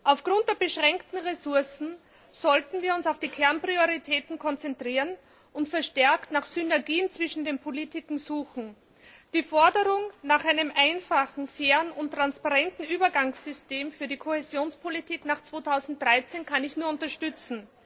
Aufgrund der beschränkten Ressourcen sollten wir uns auf die Kernprioritäten konzentrieren und verstärkt nach Synergien zwischen den Politiken suchen. Die Forderung nach einem einfachen, fairen und transparenten Übergangssystem für die Kohäsionspolitik nach 2013 kann ich nur unterstützen.